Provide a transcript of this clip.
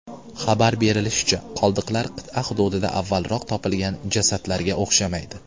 Xabar berilishicha, qoldiqlar qit’a hududida avvalroq topilgan jasadlarga o‘xshamaydi.